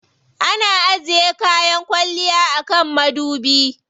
Ana ajiye kayan kwalliya a kan madubi.